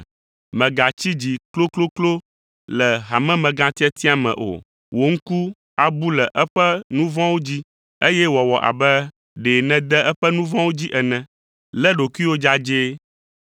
Mègatsi dzi klokloklo le hamemegãtiatia me o. Wò ŋku abu le eƒe nu vɔ̃wo dzi, eye wòawɔ abe ɖe nède eƒe nu vɔ̃wo dzi ene. Lé ɖokuiwò dzadzɛ.